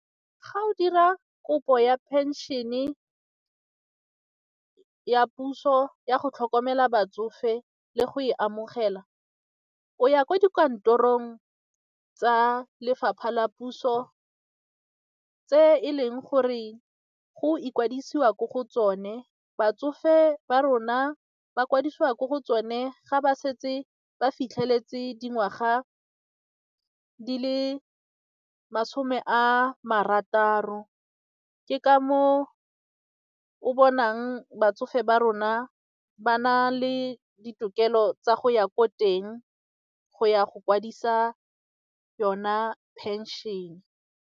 Ga o dira kopo ya pension-e ya puso ya go tlhokomela batsofe le go e amogela, o ya kwa dikantorong tsa lefapha la puso tse e leng gore go ikwadisiwa ko go tsone, batsofe ba rona ba kwadisiwa ko go tsone ga ba setse ba fitlheletse dingwaga di le masome a marataro, ke ka moo o bonang batsofe ba rona ba na le ditokelo tsa go ya ko teng go ya go kwadisa yona pension-e.